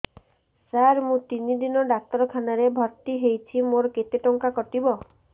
ସାର ମୁ ତିନି ଦିନ ଡାକ୍ତରଖାନା ରେ ଭର୍ତି ହେଇଛି ମୋର କେତେ ଟଙ୍କା କଟିବ